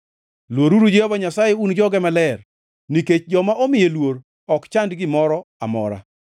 Luoruru Jehova Nyasaye, un joge maler, nikech joma omiye luor ok chand gimoro amora.